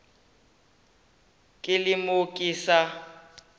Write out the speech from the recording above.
ke le mo ke sa